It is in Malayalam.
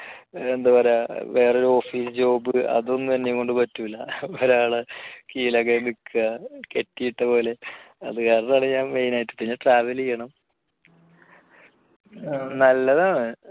എന്താ പറയാ വേറൊരു office job അതൊന്നും എന്നെക്കൊണ്ട് പറ്റില്ല ഒരാളുടെ കീഴിൽ അങ്ങനെ നിൽക്കുക കെട്ടിയിട്ട പോലെ അതുകാരണമാണ് ഞാൻ main ആയിട്ട് പിന്നെ travel ചെയ്യണം. നല്ലതാണ്